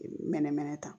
Mɛnɛmɛnɛ ta